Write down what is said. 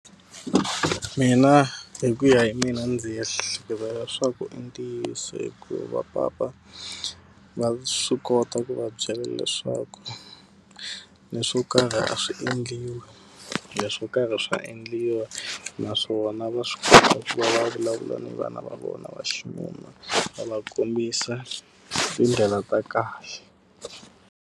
Mina hi ku ya hi mina ndzi ehleketa leswaku i ntiyiso hikuva papa, va swi kota ku va byela leswaku leswo karhi a swi endliwi, leswo karhi swa endliwa. Naswona va swi kota ku va vulavula ni vana va vona va xinuna va va kombisa tindlela ta kahle.